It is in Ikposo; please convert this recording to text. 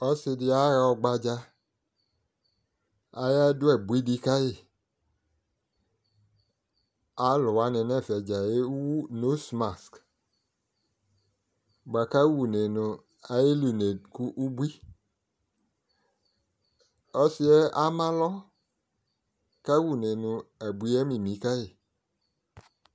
Ɔsɩdɩ aɣa ɔgbadza, ayadʋ abuiɖɩ kayi, alʋwanɩ n'fɛ dzaa ewu ŋose mask bʋa k'ayeli une kʋ ubui Ɔsɩ yɛ amalɔ kaw'une nʋ anyi yɛ ami kayi